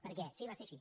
per què va ser així